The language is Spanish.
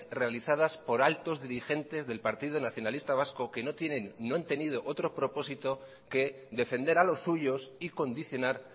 realizadas por altos dirigentes del partido nacionalista vasco que no han tenido otro propósito que defender a los suyos y condicionar